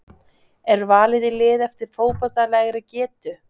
Er valið í lið eftir fótboltalegri getu?